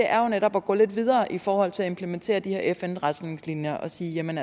er jo netop at gå lidt videre i forhold til at implementere de her fn retningslinjer og sige at man